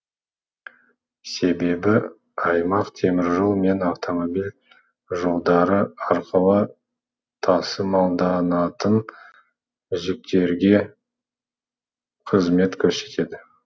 себебі аймақ теміржол мен автомобиль жолдары арқылы тасымалданатын жүктерге қызмет көрсетеді